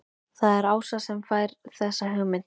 Það er Ása sem fær þessa hugmynd.